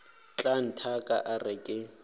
tla nthaka a re ke